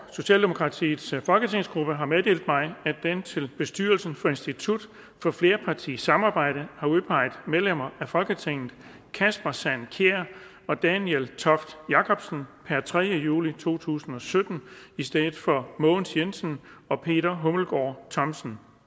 socialdemokratiets folketingsgruppe har meddelt mig at den til bestyrelsen for institut for flerpartisamarbejde har udpeget medlemmer af folketinget kasper sand kjær og daniel toft jakobsen per tredje juli to tusind og sytten i stedet for mogens jensen og peter hummelgaard thomsen